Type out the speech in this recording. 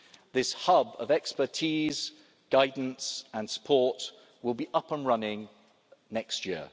House. This hub of expertise, guidance and support will be up and running next